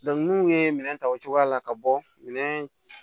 n'u ye minɛn ta o cogoya la ka bɔ minɛn